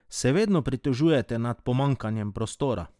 Se vedno pritožujete nad pomanjkanjem prostora?